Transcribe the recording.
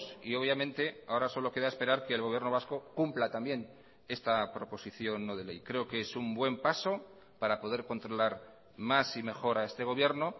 y obviamente ahora solo queda esperar que el gobierno vasco cumpla también esta proposición no de ley creo que es un buen paso para poder controlar más y mejor a este gobierno